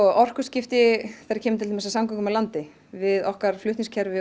orkuskipti þegar kemur að samgöngum á landi okkar flutningskerfi